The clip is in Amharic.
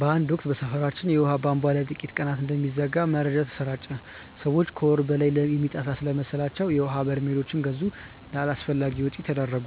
በአንድ ወቅት በሰፈራችን የውሃ ቧንቧ ለጥቂት ቀናት እንደሚዘጋ መረጃ ተሰራጨ። ሰዎች ከወር በላይ የሚጠፋ ስለመሰላቸው የውሀ በርሜሎች ገዙ፣ ለአላስፈላጊ ወጪ ተዳረጉ።